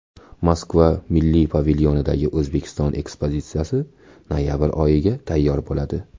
Moskva milliy pavilyonidagi O‘zbekiston ekspozitsiyasi noyabr oyiga tayyor bo‘ladi.